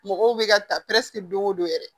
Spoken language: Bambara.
Mɔgɔw bɛ ka ta don o don yɛrɛ